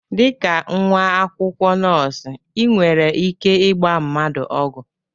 Dịka nwa akwụkwọ nọọsụ ị nwere ike ịgba mmadụ ọgwụ?